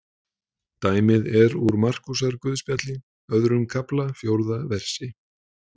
Dæmið er úr Markúsarguðspjalli, öðrum kafla, fjórða versi.